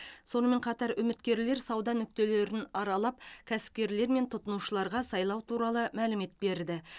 сонымен қатар үміткерлер сауда нүктелерін аралап кәсіпкерлер мен тұтынушыларға сайлау туралы мәлімет берді